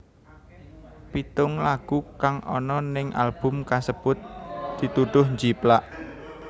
Pitung lagu kang ana ning album kasebut dituduh njiplak